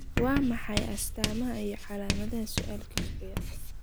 Waa maxay astamaaha iyo calaamadaha suulka kiciya?